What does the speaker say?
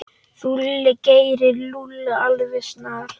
Þú gerir Lúlla alveg snar,